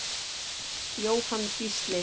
Jóhann Gísli.